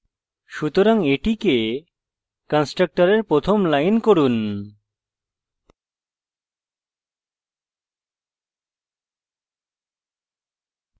সুতরাং এটিকে কন্সট্রকটরের প্রথম line করুন